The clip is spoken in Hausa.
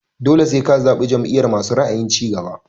Dole sai ka zaɓi jam'iyar masu ra'ayin cigaba.